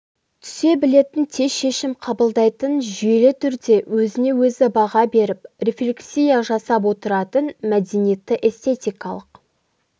түсе білетін тез шешім қабылдайтын жүйелі түрде өзіне-өзі баға беріп рефлексия жасап отыратын мәдениетті эстетикалық